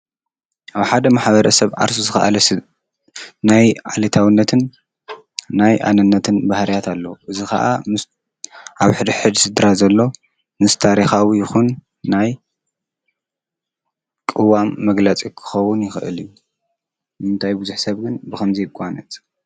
ኣብ ሓደ ማሕበረሰብ ዓርሱ ዝከኣለ ስድራ ናይ ዓለታዉነትን ናይ ኣነነትን ባህርያት ኣለዎ። እዚ ከዓ ምስ ኣብ ሕድሕድ ስድራ ዘሎ ምስ ታሪካዊ ይኩን ናይ ቅዋም መግለፂ ክከዉን ይክእል እዩ። ንምንታይ ብዙሕ ሰብ ግን ብከምዚ ይጓነፅ?